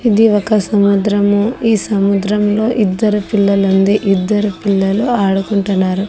ఇది ఒక సముద్రం ఈ సముద్రంలో ఇద్దరు పిల్లలు ఉంది ఇద్దరు పిల్లలు ఆడుకుంటున్నారు.